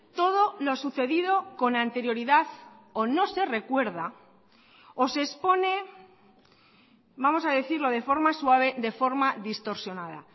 todo lo sucedido con anterioridad o no se recuerda o se expone vamos a decirlo de forma suave de forma distorsionada